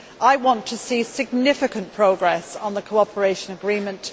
I want to see significant progress on the cooperation agreement.